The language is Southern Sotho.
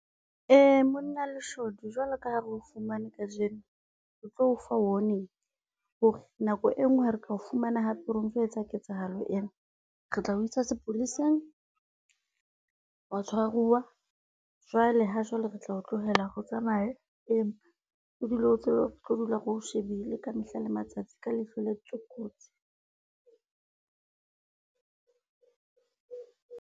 Monna leshodu jwalo ka ha re o fumane kajeno, re tlo o fa warning hore nako e nngwe ha re ka o fumana hape o ntso etsa ketsahalo ena re tla o isa sepoleseng, wa tshwaruwa. Jwale ha jwale re tla o tlohela hore o tsamaye, empa o dule o tseba retlo dula re o shebile ka mehla, le matsatsi ka leihlo le kotsi.